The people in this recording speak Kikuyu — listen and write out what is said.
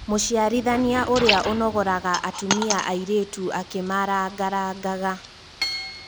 Mũciarithania ũria ũnogoraga atũmia arĩtũ akĩmarangarangaga